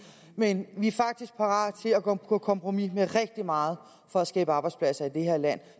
men vi er faktisk parate til at gå på kompromis med rigtig meget for at skabe arbejdspladser i det her land